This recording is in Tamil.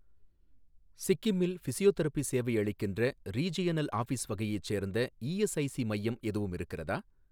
சிக்கிமில் ஃபிசியோதெரபி சேவை அளிக்கின்ற, ரீஜியனல் ஆஃபீஸ் வகையைச் சேர்ந்த இஎஸ்ஐஸி மையம் எதுவும் இருக்கிறதா?